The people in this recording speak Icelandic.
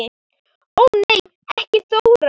Ó nei ekki Þóra